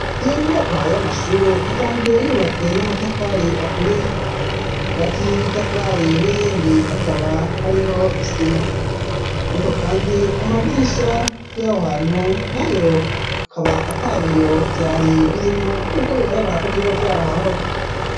Iyo nyumakwa y'amashure, isanzwe yubatswe n'amatafari aturiye ,hagati y'itafari n'irindi akaba hariho isima ,ariko kandi amadirisha y'aho hantu nayo akaba atabiyo vyari birimwo ,n'ubwo bigaragara ko vyobavyara hahoze.